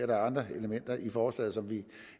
der er andre elementer i forslaget som vi